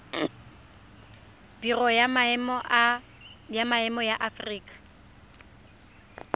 biro ya maemo ya aforika